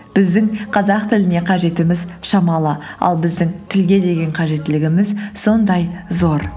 біздің қазақ тіліне қажетіміз шамалы ал біздің тілге деген қажеттілігіміз сондай зор